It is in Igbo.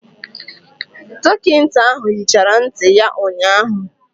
Dọkịta ahụ hichara ntị ya ụnyahụ.